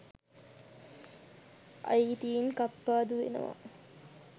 අයිතීන් කප්පාදු වෙනවා